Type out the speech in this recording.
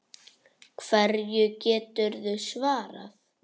Hverju geturðu svarað?